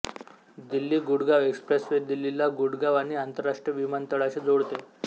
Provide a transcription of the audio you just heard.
Delhi Gurgaon expressway दिल्लीला गुडगाव आणि आंतरराष्ट्रीय विमानतळाशी जोडते